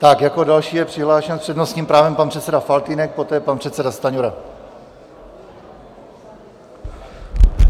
Tak, jako další je přihlášen s přednostním právem pan předseda Faltýnek, poté pan předseda Stanjura.